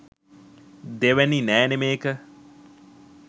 දෙවැනි නෑනේ මේක